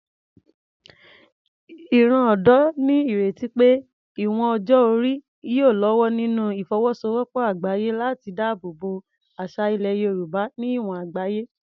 Ìran ọ̀dọ́ ní ìrètí pé ìwọ̀n ọjọ́ orí yóò lọ́wọ́ nínú ìfọwọ́sowọ́pọ̀ àgbáyé láti dáàbò bo àṣà ilẹ̀ Yorùbá ní ìwọ̀n àgbáyé.